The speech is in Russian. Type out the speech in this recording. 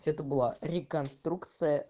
это была реконструкция